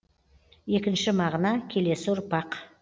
екінші мағына келесі ұрпақ